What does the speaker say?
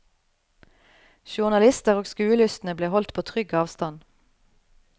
Journalister og skuelystne ble holdt på trygg avstand.